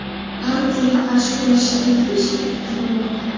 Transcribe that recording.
Korrupsiyaga qarshi kurashish agentligi ishga taklif qilmoqda.